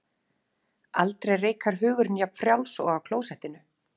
Aldrei reikar hugurinn jafn frjáls og á klósettinu.